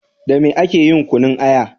Da me ake yin kunun aya?